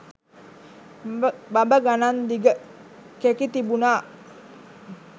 බඹ ගණං දිග කෙකි තිබුණා